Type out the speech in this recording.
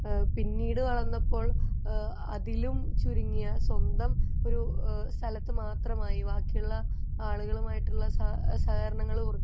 ഏഹ്ഹ് പിന്നീട വളർന്നപ്പോൾ ഏഹ്ഹ് അതിലും ചുരുങ്ങിയ സ്വന്തം ഒരു സ്ഥലത്തു മാത്രമായി ബാക്കി ഉള്ള ആളുകളുമായിട്ട് ഉള്ള സഹകരണങ്ങളും കുറഞ്ഞു വന്നു